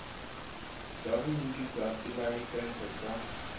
bya vunyiki bya tilayisense bya